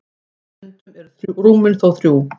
stundum eru rúmin þó þrjú